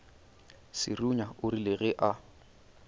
serunya o rile ge a